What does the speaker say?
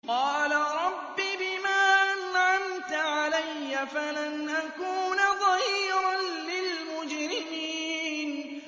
قَالَ رَبِّ بِمَا أَنْعَمْتَ عَلَيَّ فَلَنْ أَكُونَ ظَهِيرًا لِّلْمُجْرِمِينَ